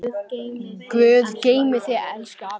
Guð geymi þig, elsku afi.